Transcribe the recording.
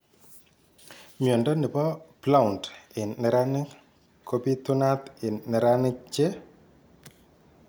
Mnyondo nebo Blount en neranik kobitunat en neranik che ..